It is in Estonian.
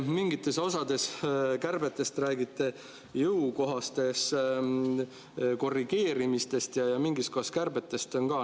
Mingites osades räägite te kärbetest kui jõukohasemaks korrigeerimistest ja mingis kohas kui kärbetest.